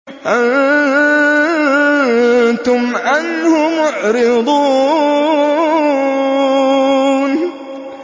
أَنتُمْ عَنْهُ مُعْرِضُونَ